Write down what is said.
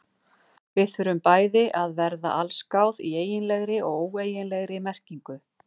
Við þurfum bæði að verða allsgáð í eiginlegri og óeiginlegri merkingu.